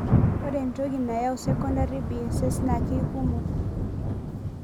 Ore entoki nayau secondary BSS na keikumok.